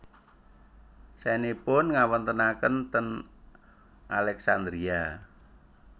Saenipun ngawontenaken ten Alexandria